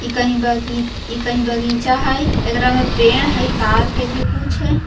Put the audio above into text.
इ कई बगी इ कई बागीचा हैय इकारा मे पेड़ हैय तार के भी कुछ--